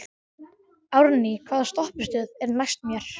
Árný, hvaða stoppistöð er næst mér?